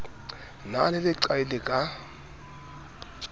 na le leqai le ka